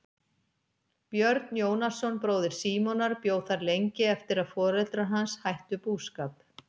Björn Jónasson bróðir Símonar bjó þar lengi eftir að foreldrar hans hættu búskap.